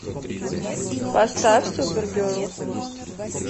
поставь супергерл